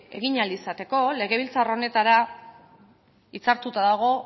egin ahal izateko legebiltzar honetara hitzartuta dago